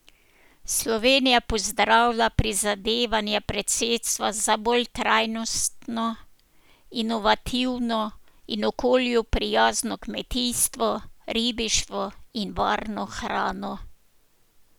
Slovenija pozdravlja prizadevanja predsedstva za bolj trajnostno, inovativno in okolju prijazno kmetijstvo, ribištvo in varno hrano.